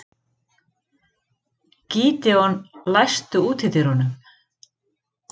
Gídeon, læstu útidyrunum.